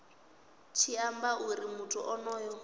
tshi amba uri muthu onoyo